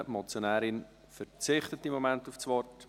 Die Motionärin verzichtet auf das Wort.